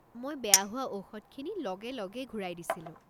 মই বেয়া হোৱা ঔষধখিনি লগে লগে ঘূৰাই দিছিলোঁ।